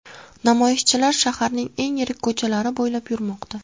Namoyishchilar shaharning eng yirik ko‘chalari bo‘ylab yurmoqda.